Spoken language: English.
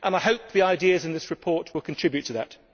I hope the ideas in this report will contribute to that.